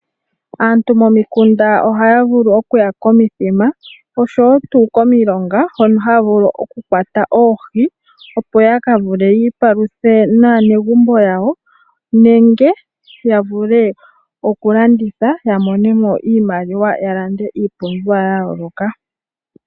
Aantu momikuna ohaya vulu okuya komithima nenge komilonga hono haya kakwata oohi yamone iipalutha ya kalye naanegumbo yawo nenge yakalandithe ya mone iimaliwa yalande iipumbiwa yawo.